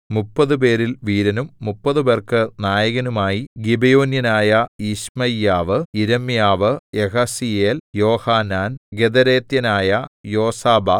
മുപ്പതുപേരിൽ വീരനും മുപ്പതുപേർക്കു നായകനുമായി ഗിബെയോന്യനായ യിശ്മയ്യാവ് യിരെമ്യാവ് യഹസീയേൽ യോഹാനാൻ ഗെദേരാത്യനായ യോസാബാദ്